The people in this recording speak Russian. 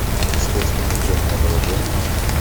искать кино темное отражение